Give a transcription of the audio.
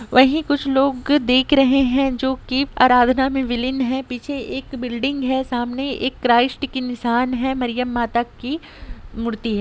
वही कुछ लोग दिख रहे है जोकी आराधना मे विलिं है पीछे एक बिल्डिंग है सामने एक क्राइस्ट की निशान है मरियम माता कि मूर्ति है।